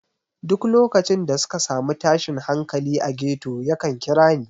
Duk lokacin da suka sami tashin hankali a ghetto yakan kira ni.